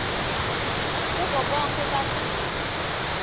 kubo bonkhe badlali